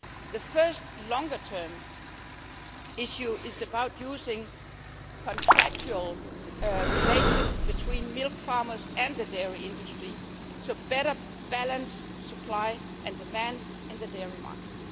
The first longer term issue is about using contractual relations between milk farmers and the dairy industry to better balance supply and demand in the dairy market.